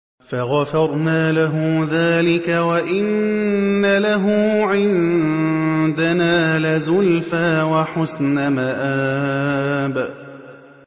فَغَفَرْنَا لَهُ ذَٰلِكَ ۖ وَإِنَّ لَهُ عِندَنَا لَزُلْفَىٰ وَحُسْنَ مَآبٍ